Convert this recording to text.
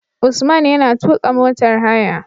Usman yana tuƙa motar haya